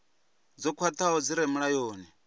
dzo khwathaho dzi re mulayoni